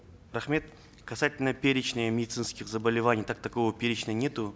рахмет касательно перечня медицинских заболеваний как такового перечня нету